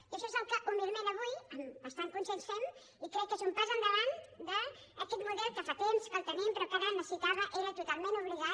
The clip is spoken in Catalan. i això és el que humilment avui amb bastant consens fem i crec que és un pas endavant d’aquest model que fa temps que el tenim però que ara necessitàvem era totalment obligat